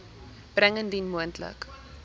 bring indien moontlik